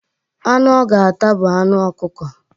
Anụ ọ ga-ata bụ anụ okụko.